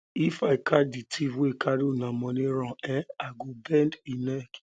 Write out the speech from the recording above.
if i catch the thief wey carry una money run eh i go bend im neck